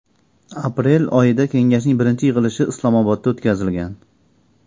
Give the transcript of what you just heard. Aprel oyida kengashning birinchi yig‘ilishi Islomobodda o‘tkazilgan.